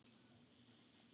Þín Fríða Björk.